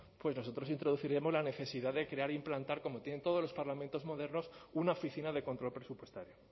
pues nosotros introduciremos la necesidad de crear e implementar como tienen todos los parlamentos modernos una oficina de control presupuestario